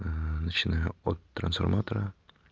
начинаю от трансформатора